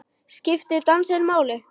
Skiptir dansinn máli?